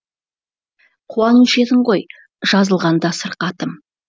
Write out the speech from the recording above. қуанушы едің ғой жазылғанда сырқатым